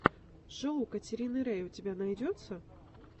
шоу катерины рей у тебя найдется